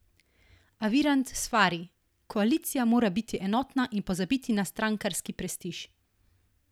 A Virant svari: "Koalicija mora biti enotna in pozabiti na strankarski prestiž".